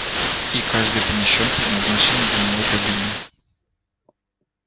и каждый помещён в предназначенную для него кабину